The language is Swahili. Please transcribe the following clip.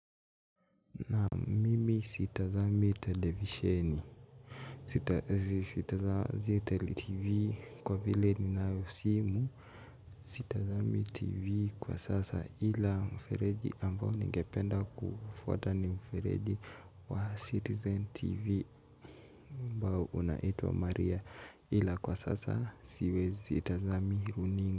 Naam, mimi sitazami televisheni. Sitazami TV kwa vile ninayo simu. Sitazami TV kwa sasa ila mfereji ambao ningependa kufuata ni mfereji wa Citizen TV ambao unaitwa Maria ila kwa sasa sitazami runinga.